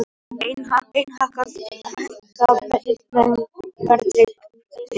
Enn hækka verðtryggð bréf